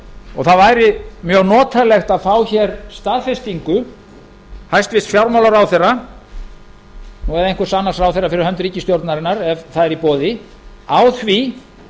og það væri mjög notalegt að fá hér staðfestingu hæstvirtur fjármálaráðherra eða einhvers annars ráðherra fyrir hönd ríkisstjórnarinnar ef það er í boði á því